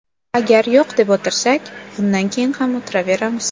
Agar yo‘q deb o‘tirsak, bundan keyin ham o‘tiraveramiz.